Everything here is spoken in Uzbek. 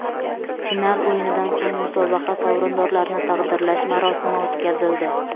Final o‘yinidan so‘ng musobaqa sovrindorlarini taqdirlash marosimi o‘tkazildi.